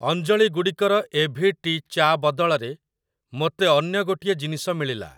ଅଞ୍ଜଳି ଗୁଡ଼ିକର A V T ଚା ବଦଳରେ ମୋତେ ଅନ୍ୟ ଗୋଟିଏ ଜିନିଷ ମିଳିଲା ।